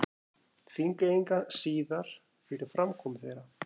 Þingeyinga síðar fyrir framkomu þeirra.